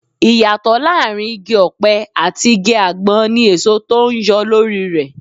Ìyàtọ̀ láàárín Igi-ọpẹ àti igi àgbọn ní èso tó ń yọ lórí rẹ.